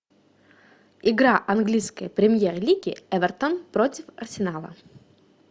игра английской премьер лиги эвертон против арсенала